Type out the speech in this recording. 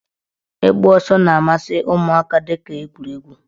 Ịgba ọsọ na-amasị ụmụaka dịka egwuregwu.